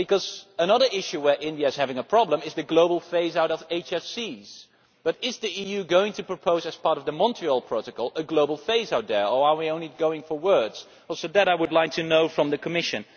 Because another issue where India is having a problem is the global phase out of hydrofluorocarbons Is the EU going to propose, as part of the Montreal Protocol, a global phase out there, or are we only going for words? That is something else I would like to know from the Commission.